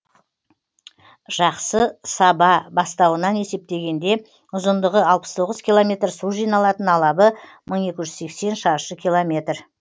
жақсы саба бастауынан есептегенде ұзындығы алпыс тоғыз километр су жиналатын алабы мың екі жүз сексен шаршы километр